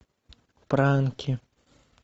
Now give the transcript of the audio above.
пранки